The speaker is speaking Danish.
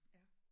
Ja